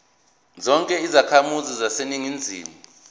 zonke izakhamizi zaseningizimu